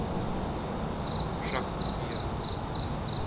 шахунья